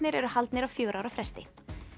eru haldnir á fjögurra ára fresti